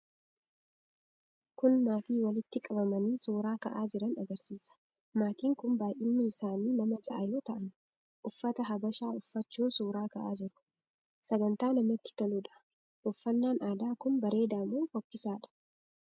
Kun maatii walitti qabamanii suuraa ka'aa jiran agarsiisa. Maatiin kun baay'inni isaanii nama ja'a yoo ta'an uffata habashaa uffachuun suuraa ka'aa jiru. Sagantaa namatti toluu dha. Uffannaan aadaa kun bareedaa moo fokkisaa dha?